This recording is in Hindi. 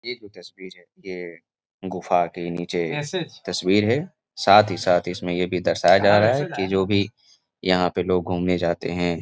ये तस्वीर है। गुफा के नीचे तस्वीर है साथ ही साथ इसमें ये भी दर्शाया जा रहा है कि जो भी यहाँ पे लोग घूमने जाते हैं--